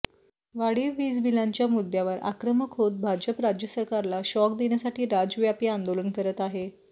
वाढीव वीज बिलांच्या मुद्द्यावर आक्रमक होत भाजप राज्य सरकारला शॉक देण्यासाठी राज्यव्यापी आंदोलन करत आहे